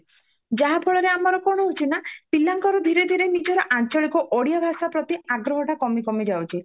ଯାହା ଫଳରେ ଆମର କଣ ହାଉଛି ନାଁ ପିଲାଙ୍କର ଧୀରେ ଧୀରେ ନିଜର ଆଞ୍ଚଳିକ ଓଡିଆ ଭାଷା ପ୍ରତି ଆଗ୍ରହ ଟା କମି କମି ଯାଉଛି